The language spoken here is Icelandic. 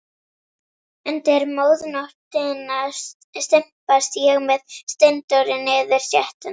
Undir miðnóttina stimpast ég með Steindóri niður stéttina.